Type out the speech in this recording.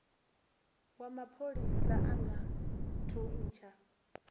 wa mapholisa a nga thuntsha